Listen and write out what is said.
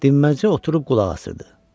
Dimməzcə oturub qulaq asırdı.